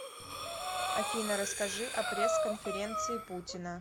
афина расскажи о пресс конференции путина